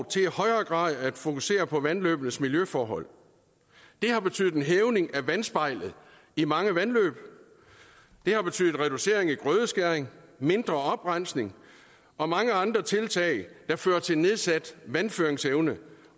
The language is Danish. til i højere grad at fokusere på vandløbenes miljøforhold det har betydet en hævning af vandspejlet i mange vandløb det har betydet reducering i grødeskæring mindre oprensning og mange andre tiltag der fører til nedsat vandføringsevne